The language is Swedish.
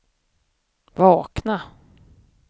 vakna